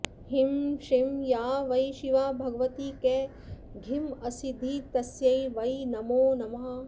ह्रीं श्रीं या वै शिवा भगवती कघिमासिद्धिस्तस्यै वै नमो नमः